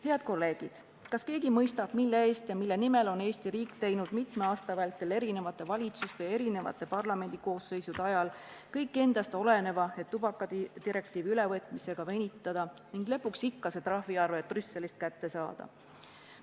Head kolleegid, kas keegi mõistab, mille eest ja mille nimel on Eesti riik mitme aasta vältel eri valitsuste ja eri parlamendikoosseisude ajal teinud kõik endast oleneva, et tubakadirektiivi ülevõtmisega venitada ning lõpuks ikka see trahviarve Brüsselist kätte saada?